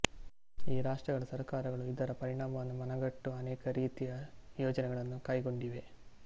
ಈ ರಾಷ್ಟ್ರಗಳ ಸರ್ಕಾರಗಳು ಇದರ ಪರಿಣಾಮವನ್ನು ಮನಗಂಡು ಅನೇಕ ರೀತಿಯ ಯೋಜನೆಗಳನ್ನು ಕೈಗೊಂಡಿವೆ